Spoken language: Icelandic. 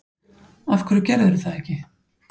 Af hverju gerðirðu það ekki?